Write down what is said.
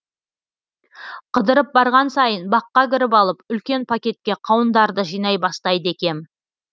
қыдырып барған сайын баққа кіріп алып үлкен пакетке қауындарды жинай бастайды екем